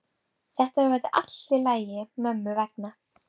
Þetta verður allt í lagi mömmu vegna.